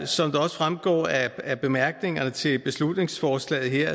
som det også fremgår af bemærkningerne til beslutningsforslaget